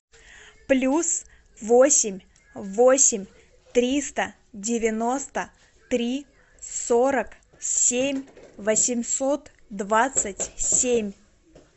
плюс восемь восемь триста девяносто три сорок семь восемьсот двадцать семь